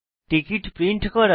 ticket print করা